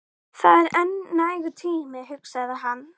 Það er enn nægur tími, hugsaði hann.